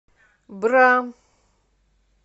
бра